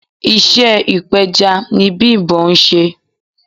Iṣẹ́ ipeja ni Bimbo ń ṣe.